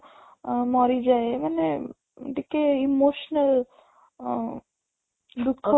ମରିଯାଏ ମାନେ ଟିକେ emotional ଅଂ ଦୁଃଖ